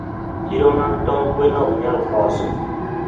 chiro mag tong gwen oknyal koso